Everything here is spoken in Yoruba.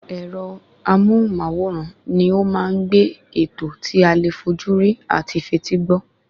Ẹ̀rọ amóhùn-máwòrán ni ó ma ń gbé ètò tí alè fójúrí ati fetí gbọ́